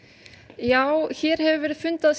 já hér hefur verið fundað